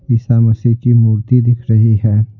ईसा मसीह की मूर्ति दिख रही है।